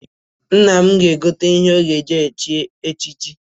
Nna m na-egote ihe ọ ga-aga eji chi echichi.